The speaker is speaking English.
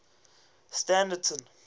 standerton